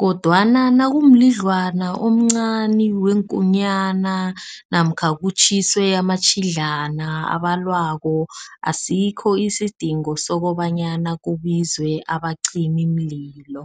kodwana nakumlidlwana omncani weenkunyana namkha kutjhiswe amatjhidlana abalwako. Asikho isidingo sokobanyana kubizwe abacimimlilo.